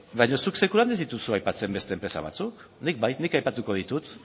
baina zuk sekulan ez dituzu aipatzen beste enpresa batzuk nik bai nik aipatuko ditut